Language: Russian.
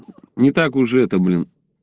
не так уже это блин